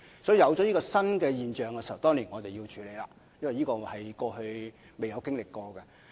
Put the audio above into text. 當有這種新現象出現時，我們當然要處理，因為這是過去未曾經歷過的。